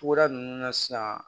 Tuguda nunnu na sisan